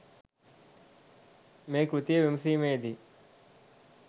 මේ කෘතිය විමසීමේදී